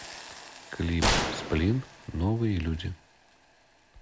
клип сплин новые люди